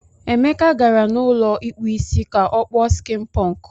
Emeka gara n'ụlọ ikpu Ịsị ka o kpuo skin punk.